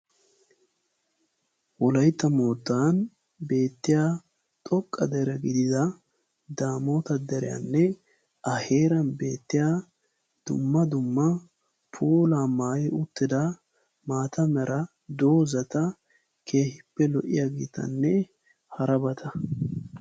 Wolaytta mootan beetiya xoqqa dere gidida daamota deriyane a heeran beetiya dumma dumma puulaa maayi uttida maataa mera dozataa keehippe lo'iyagetane harabata.